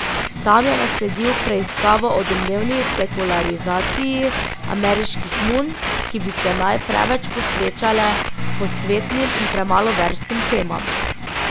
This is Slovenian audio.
Tam je nasledil preiskavo o domnevni sekularizaciji ameriških nun, ki bi se naj preveč posvečale posvetnim in premalo verskim temam.